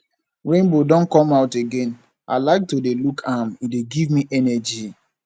rainbow don come out again i like to dey look am e dey give me energy